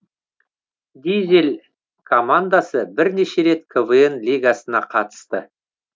дизель командасы бірнеше рет квн лигасына қатысты